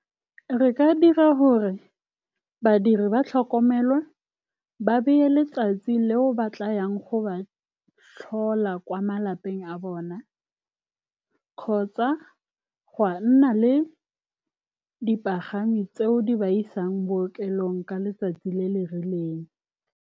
Re ka dira gore badiri ba tlhokomelwe, ba be le letsatsi leo ba tla yang go ba tlhola kwa malapeng a bone, kgotsa ga nna le dipagami tseo di ba isang bookelong ka letsatsi le le rileng.